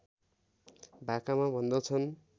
भाकामा भन्दछन्